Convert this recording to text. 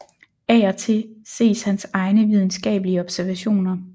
Af og til ses hans egne videnskabelige observationer